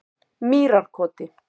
Mýrarkoti